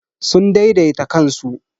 Sun daidaita kansu.